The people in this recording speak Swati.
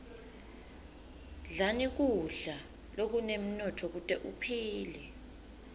dlani kudla lokunemnotfo kute uphile